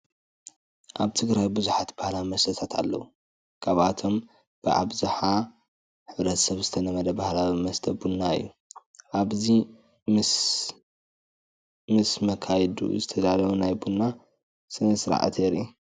ኣብ ትግራይ ብዙሓት ባህላዊ መስተታት ኣለው፡፡ ካብኦቶም ብኣብዝሓ ሕ/ሰብ ዝተለመደ ባህላዊ መስተ ቡና እዩ፡፡ ኣብዚ ምስ ምስ መኻይዱ ዝተዳለወ ናይ ቡና ስነ-ስርዓት የርኢ፡፡